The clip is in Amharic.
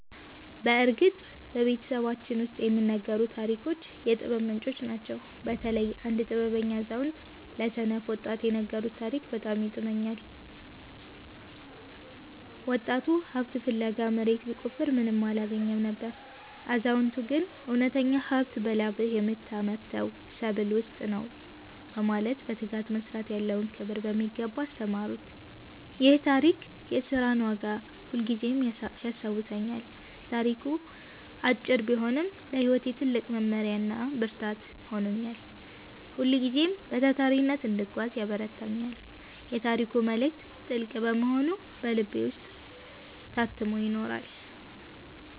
በእርግጥ በቤተሰባችን ውስጥ የሚነገሩት ታሪኮች የጥበብ ምንጮች ናቸው። በተለይ አንድ ጥበበኛ አዛውንት ለሰነፍ ወጣት የነገሩት ታሪክ በጣም ይጥመኛል። ወጣቱ ሀብት ፍለጋ መሬት ቢቆፍርም ምንም አላገኘም ነበር። አዛውንቱ ግን እውነተኛው ሀብት በላብህ በምታመርተው ሰብል ውስጥ ነው በማለት በትጋት መስራት ያለውን ክብር በሚገባ አስተማሩት። ይህ ታሪክ የሥራን ዋጋ ሁልጊዜም ያስታውሰኛል። ታሪኩ አጭር ቢሆንም ለሕይወቴ ትልቅ መመሪያና ብርታት ሆኖኛል። ሁልጊዜም በታታሪነት እንድጓዝ ያበረታታኛል። የታሪኩ መልእክት ጥልቅ በመሆኑ በልቤ ውስጥ ታትሞ ይኖራል።